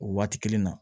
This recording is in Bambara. O waati kelen na